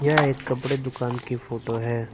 यह एक कपड़े दुकान की फोटो हैं।